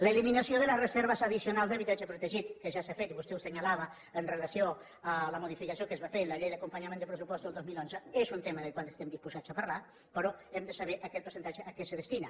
l’eliminació de les reserves addicionals d’habitatge protegit que ja s’ha fet i vostè ho assenyalava amb relació a la modificació que es va fer en la llei d’acompanyament dels pressupostos del dos mil onze és un tema del qual estem disposats a parlar però hem de saber aquest percentatge a què es destina